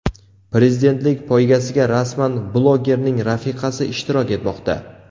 Prezidentlik poygasida rasman blogerning rafiqasi ishtirok etmoqda.